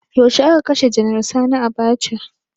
Yaushe a ka kashe janar sani Abacha?